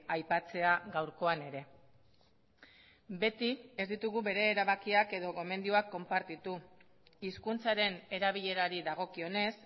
aipatzea gaurkoan ere beti ez ditugu bere erabakiak edo gomendioak konpartitu hizkuntzaren erabilerari dagokionez